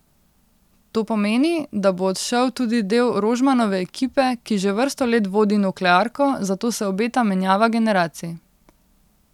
To pomeni, da bo odšel tudi del Rožmanove ekipe, ki že vrsto let vodi nuklearko, zato se obeta menjava generacij.